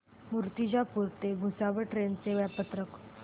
मूर्तिजापूर ते भुसावळ ट्रेन चे वेळापत्रक